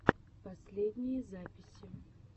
последние записи